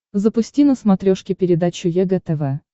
запусти на смотрешке передачу егэ тв